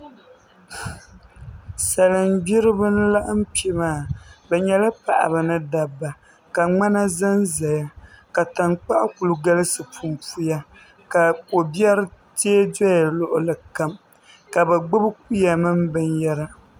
Salin gbiribi n laɣam kpɛ maa bi nyɛla paɣaba ni dabba ka ŋmana ʒɛnʒɛya ka tankpaɣu ku galisi punpuya ka ko biɛri tiɛ doya luɣuli kam ka bi gbibi kuya mini binyɛra